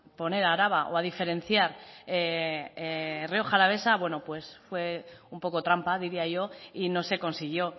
poner araba o a diferenciar rioja alavesa bueno pues fue un poco trampa diría yo y no se consiguió